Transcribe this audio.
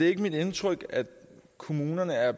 ikke mit indtryk at kommunerne er